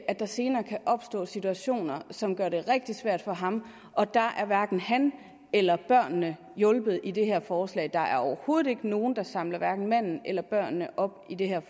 at der senere kan opstå situationer som gør det rigtig svært for ham og der er hverken han eller børnene hjulpet med det her forslag der er overhovedet ikke nogen der samler hverken manden eller børnene op i det her